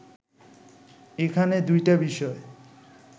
এখানে দুইটা বিষয়